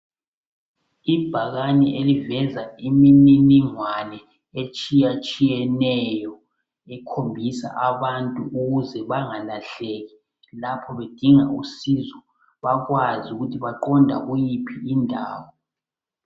Ibhakane eliveza imininingwane etshiyetshiyeneyo ikhombisa abantu ukuze bengalahleki lapho bedinga usizo. bakwazi ukuthi baqonda kuyiphi indawo.